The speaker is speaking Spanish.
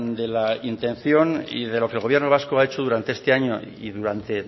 de la intención y de lo que el gobierno vasco ha hecho durante este año y durante